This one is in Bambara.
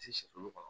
Ti se kulu kɔnɔ